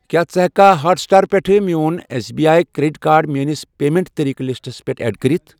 کیٛاہ ژٕ ہٮ۪کہِ ہاٹ سٕٹار پٮ۪ٹھ میون S B I credit card میٲنِس پیمنٹ طٔریٖقہٕ لِسٹَس پٮ۪ٹھ ایڈ کٔرِتھ؟